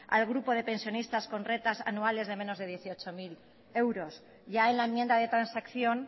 al grupo de pensionistas con rentas anuales de menos de dieciocho mil euros ya en la enmienda de transacción